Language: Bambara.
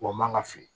Wa man ga fili